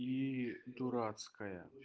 ии дурацкая